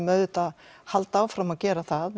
auðvitað halda áfram að gera það